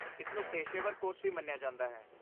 ਇਸ ਨੂੰ ਪੇਸ਼ੇਵਰ ਕੋਰਸ ਵੀ ਮੰਨਿਆ ਜਾਂਦਾ ਹੈ।